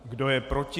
Kdo je proti?